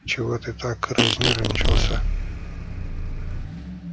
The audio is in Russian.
чего ты так разнервничался